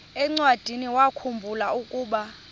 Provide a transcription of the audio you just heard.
encwadiniwakhu mbula ukuba